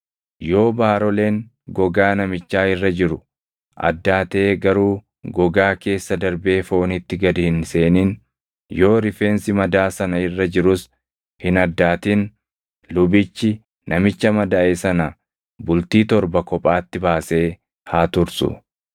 Yoo baaroleen gogaa namichaa irra jiru addaatee garuu gogaa keessa darbee foonitti gad hin seenin, yoo rifeensi madaa sana irra jirus hin addaatin, lubichi namicha madaaʼe sana bultii torba kophaatti baasee haa tursu.